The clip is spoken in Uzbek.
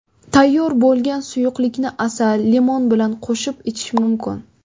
Tayyor bo‘lgan suyuqlikni asal, limon bilan qo‘shib ichish mumkin.